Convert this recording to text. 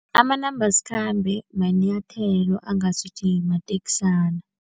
Amanambasikhambe manyathelo angasuthi mateksana.